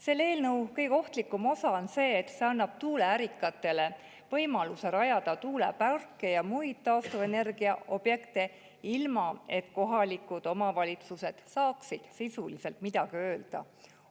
Selle eelnõu kõige ohtlikum osa on see, et see annab tuuleärikatele võimaluse rajada tuuleparke ja muid taastuvenergiaobjekte, ilma et kohalikud omavalitsused saaksid sisuliselt midagi öelda.